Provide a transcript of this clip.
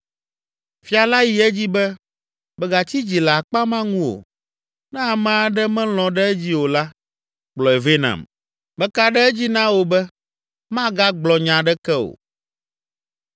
Fia la yi edzi be, “Mègatsi dzi le akpa ma ŋu o. Ne ame aɖe melɔ̃ ɖe edzi o la, kplɔe vɛ nam. Meka ɖe edzi na wò be magagblɔ nya aɖeke o!”